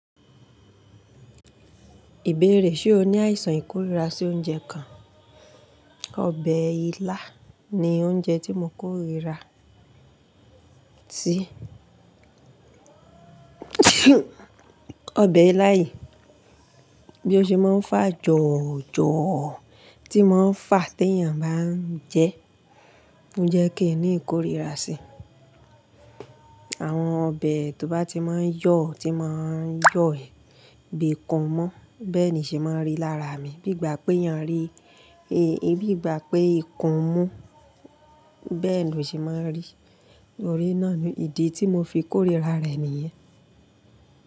Ìbéèrè ṣe o ní àìsàn ìkórìíra sí oúnjẹ kan? Ọbẹ̀ ilá ni oúnjẹ tí mo kórìíra sí. Ọbẹ̀ ilá yìí bí ó ṣe máa ń fà jọ̀ojọ̀ tí máa ń fà tí èèyàn bá ń jẹ, ó ń jẹ́ kí n ní ìkórìíra sí. Àwọn ọbẹ̀ tó bá ti máa ń yọ̀, tí máa ń yọ ẹ̀ bíi kan mọ́, bẹ́ẹ̀ ni ṣe máa ń rí lára mi. Bígbà pé èèyàn rí, bígbà pé ikùn mú, bẹ́ẹ̀ ni ó ṣe máa ń rí. Torí náà ni ìdí tí mo fi kórìíra rẹ̀ nìyẹn.